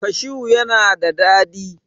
cashu yana da dadi